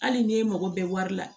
Hali n'e mago bɛ wari la